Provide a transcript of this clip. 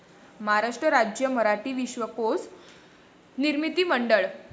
महाराष्ट्र राज्य मराठी विश्वकोश निर्मिती मंडळ